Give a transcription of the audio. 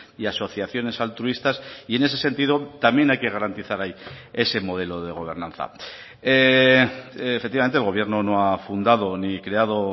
y asociaciones altruistas y en ese sentido también hay que garantizar ahí ese modelo de gobernanza efectivamente el gobierno no ha fundado ni creado